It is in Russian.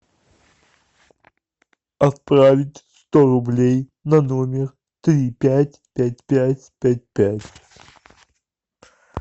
отправить сто рублей на номер три пять пять пять пять пять